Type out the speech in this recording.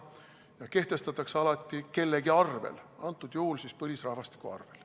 Ja kehtestatakse alati kellegi arvel, antud juhul põlisrahvastiku arvel.